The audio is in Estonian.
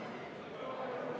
Lugupeetud kolleegid!